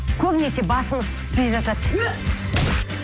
көбінесе басымыз піспей жатады ө